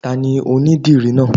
Tani onidìrí náà?